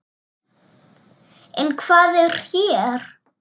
En hvað er hér?